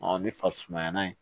ni farisumayana ye